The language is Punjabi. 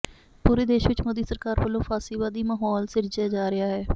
ਪੂਰੇ ਦੇਸ਼ ਵਿਚ ਮੋਦੀ ਸਰਕਾਰ ਵਲੋਂ ਫਾਸ਼ੀਵਾਦੀ ਮਾਹੌਲ ਸਿਰਜਿਆ ਜਾ ਰਿਹਾ ਹੈ